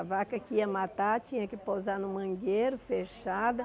A vaca que ia matar tinha que pousar no mangueiro, fechada.